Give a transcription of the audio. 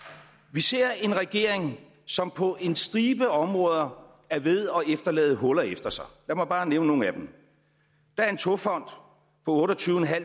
vi ser en regering som på en stribe områder er ved at efterlade huller efter sig lad mig bare nævne nogle af dem der er en togfond på otte og tyve